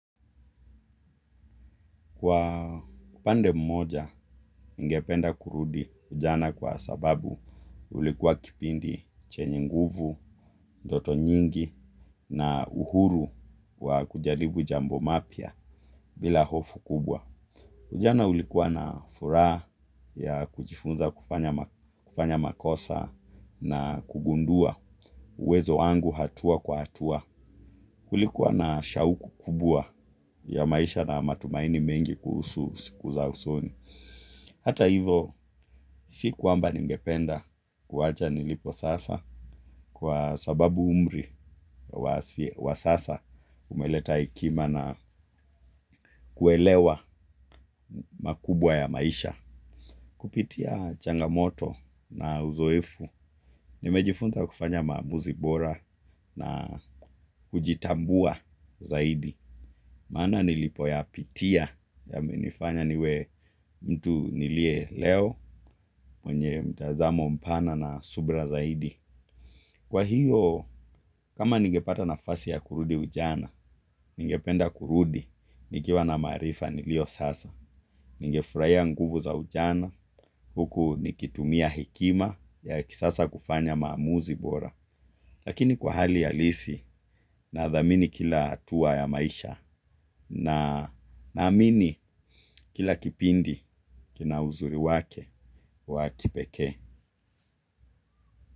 Kwa pande mmoja, ningependa kurudi ujana kwa sababu ulikuwa kipindi chenye nguvu, ndoto nyingi na uhuru wa kujaribu jambo mapya bila hofu kubwa. Ujana ulikuwa na furaha ya kujifunza kufanya makosa na kugundua uwezo wangu hatua kwa hatua. Ulikuwa na shauku kubwa ya maisha na matumaini mengi kuhusu siku za usoni. Hata hivo, si kwamba ningependa kuwacha nilipo sasa kwa sababu umri wa sasa umeleta hekima na kuelewa makubwa ya maisha. Kupitia changamoto na uzoefu, nimejifunza kufanya maamuzi bora na kujitambua zaidi. Maana nilipoyapitia yamenifanya niwe mtu niliye leo mwenye mtazamo mpana na subra zaidi. Kwa hiyo, kama ningepata nafasi ya kurudi ujana, ningependa kurudi, nikiwa na maarifa nilio sasa. Ningefurahia nguvu za ujana, huku nikitumia hekima ya kisasa kufanya maamuzi bora. Lakini kwa hali ya halisi, nadhamini kila hatua ya maisha na naamini kila kipindi kina uzuri wake wa kipekee.